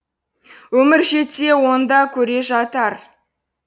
өмір жетсе оны да көре жатар